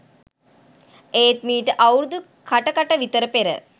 එත් මීට අවුරුදු කට කට විතර පෙර